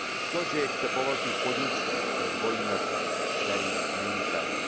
To, že je chce po velkých podnicích, je dvojí metr, který není fér.